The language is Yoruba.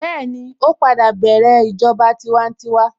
Bẹ́ẹ̀ni, ó padà bẹ̀rẹ̀ ìjọba tiwantiwa